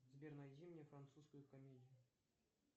сбер найди мне французскую комедию